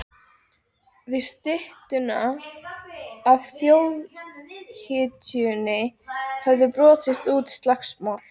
Við styttuna af þjóðhetjunni höfðu brotist út slagsmál.